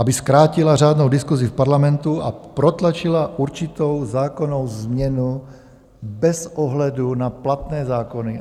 Aby zkrátila řádnou diskusi v Parlamentu a protlačila určitou zákonnou změnu bez ohledu na platné zákony.